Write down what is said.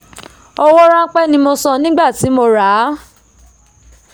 owó ránpẹ́ ni mo san nígbà tí mo ràá